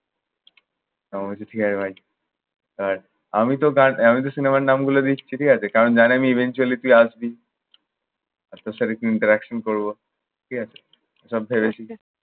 আমি বলছি, ঠিক আছে ভাই। আর আমি তো আমি তো সিনেমার নামগুলো দিচ্ছি, ঠিক আছে? কারণ জানি আমি eventually তুই আসবি। আর তোর সাথে একটু interaction করব। ঠিক আছে? সব ফেলে এসেছি।